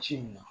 Ci in na